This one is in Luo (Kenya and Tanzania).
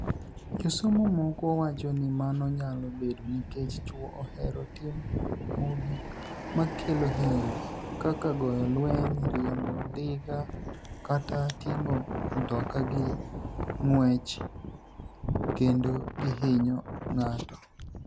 Josomo moko wacho nii mano niyalo bedo niikech chwo ohero timo gik makelo hiniyruok, kaka goyo lweniy, riembo nidiga, kata tinig'o mtoka gi nig'wech, kenido gihiniyo nig'ato.